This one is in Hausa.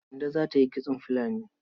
Kande za ta yi kitson filani.